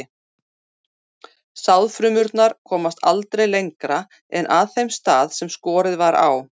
Sáðfrumurnar komast aldrei lengra en að þeim stað sem skorið var á.